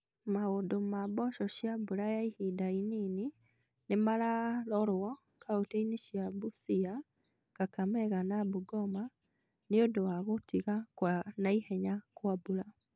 Maũndũ ma mboco cia mbura ya ihinda inini nĩ mararorwo kauntĩ-inĩ cia Busia, Kakamega na Bungoma nĩ ũndũ wa gũtiga kwa na ihenya kwa mbura.